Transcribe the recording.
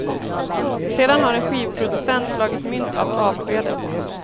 Sedan har en skivproducent slagit mynt av avskedet.